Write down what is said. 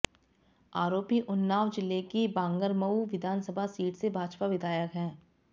आरोपी उन्नाव जिले की बांगरमऊ विधानसभा सीट से भाजपा विधायक है